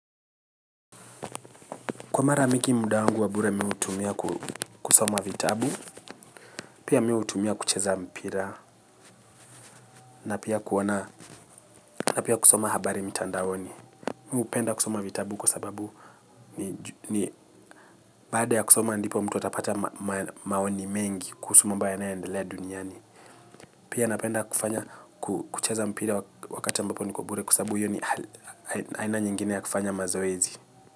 Kwa mara mingi muda wangu wa bure mimi hutumia kusoma vitabu pia mimi hutumia kucheza mpira na pia kuwa na na pia kusoma habari mitandaoni mimi hupenda kusoma vitabu kwa sababu ni baada ya kusoma ndipo mtu atapata maoni mengi kuhusu mambo yanayo endelea duniani pia napenda kufanya kucheza mpira wakati ambapo niko bure kwa sababu hiyo ni aina nyingine ya kufanya mazoezi.